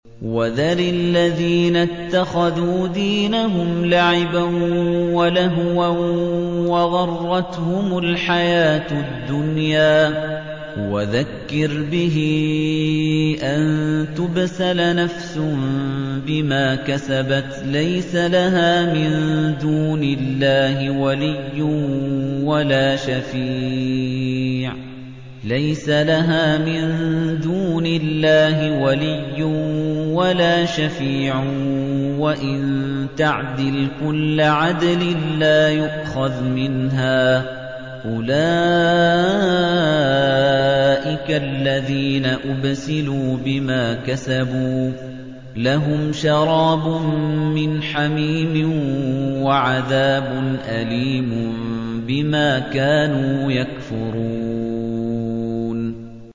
وَذَرِ الَّذِينَ اتَّخَذُوا دِينَهُمْ لَعِبًا وَلَهْوًا وَغَرَّتْهُمُ الْحَيَاةُ الدُّنْيَا ۚ وَذَكِّرْ بِهِ أَن تُبْسَلَ نَفْسٌ بِمَا كَسَبَتْ لَيْسَ لَهَا مِن دُونِ اللَّهِ وَلِيٌّ وَلَا شَفِيعٌ وَإِن تَعْدِلْ كُلَّ عَدْلٍ لَّا يُؤْخَذْ مِنْهَا ۗ أُولَٰئِكَ الَّذِينَ أُبْسِلُوا بِمَا كَسَبُوا ۖ لَهُمْ شَرَابٌ مِّنْ حَمِيمٍ وَعَذَابٌ أَلِيمٌ بِمَا كَانُوا يَكْفُرُونَ